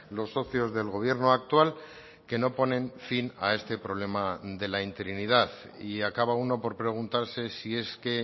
los socios del gobierno actual que no ponen fin a este problema de la interinidad y acaba uno por preguntarse si es que